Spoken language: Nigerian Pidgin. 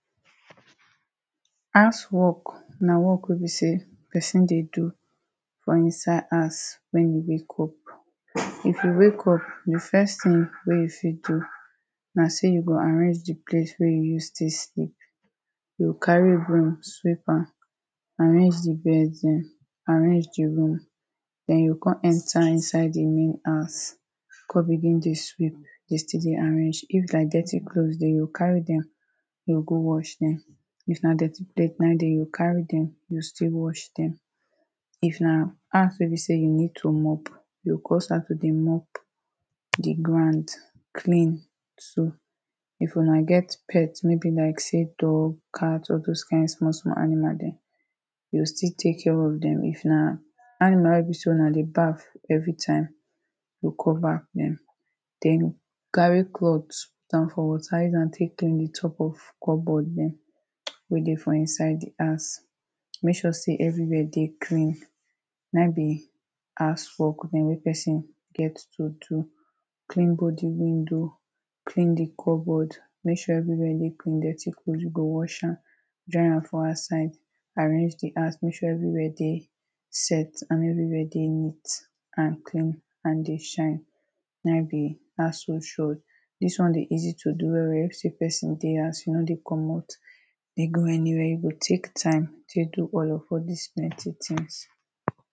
house work na work wey be say person de do from inside house when you wake up if you wake up the first thing wey you fit do na say you go arrange the place where you use take sleep you go carry broom sweep am arrange the bed then arrange the room then you go come enter inside the real house come begin the sweep, de still de arrange if na dirty cloth they go carry them then go wash them if na dirty plate na ehm, de they go carry them go still wash them if na house wey be say you need to mop, you go go start to de mop e de go with clean so, if una get bet wey be like say; cat, dog or those kind small small animal them you go still take care of them if na animal wey be say una de baf everytime go come baf them then carry cloth, put am for water use am take clean the top of cupboard them wey de for inside the house make sure say everywhere de clean na ehm be, house work wey person get to do clean body window clean the cupboard make sure everywhere de clean, dirty cloth you go wash am dry am for outside arrange the house, make sure everywhere de set, and everywhere de neat and clean and de shine na ehm be household shore this one de easy to do well well, if say person de house you no de comot de go anywhere, you go take time take do all your polish maintain things.